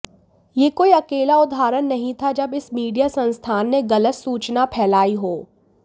यह कोई अकेला उदाहरण नहीं था जब इस मीडिया संस्थान ने गलत सूचना फैलाई हो